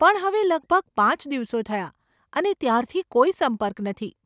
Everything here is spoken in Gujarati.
પણ હવે લગભગ પાંચ દિવસો થયા અને ત્યારથી કોઈ સંપર્ક નથી.